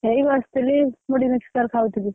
ଏଇ ବସିଥିଲି ମୁଢି mixture ।